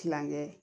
Kilankɛ